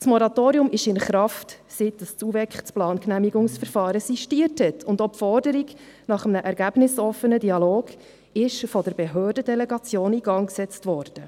Das Moratorium ist in Kraft, seit das UVEK das Plangenehmigungsverfahren sistiert hat, und auch die Forderung nach einem ergebnisoffenen Dialog ist von der Behördendelegation in Gang gesetzt worden.